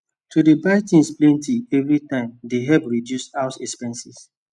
to dey buy things plenty everytime dey help reduce house expenses